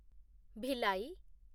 Bhilai